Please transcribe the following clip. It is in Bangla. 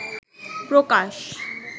প্রকাশ